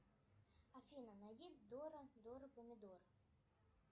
афина найди дора дора помидор